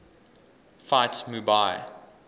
fight mu bai